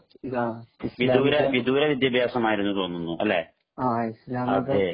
വിദൂര വിദ്യാഭ്യാസമാണെന്നു തോന്നുന്നു